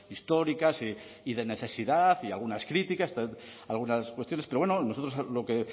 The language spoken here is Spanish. históricas y de necesidad y algunas críticas algunas cuestiones pero bueno nosotros lo que